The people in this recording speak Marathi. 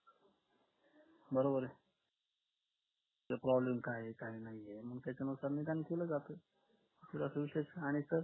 तर problem काय आहे काय नाही त्याच्यामुळे केलं जातं